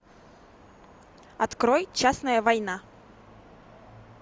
открой частная война